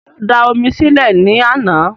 Ta ló da omi sí lẹ̀ ní àná?